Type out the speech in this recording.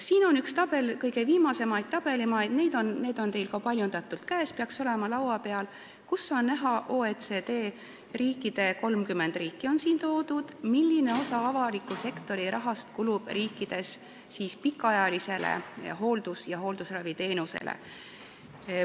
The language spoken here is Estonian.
Siin on üks graafik – need graafikud on teil ka paljundatult käes, peaksid olema teil laua peal –, kust on näha, milline osa avaliku sektori rahast OECD riikides, 30 riiki on siin toodud, kulub pikaajalisele hooldus- ja hooldusraviteenusele.